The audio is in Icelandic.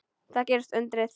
Þá gerðist undrið.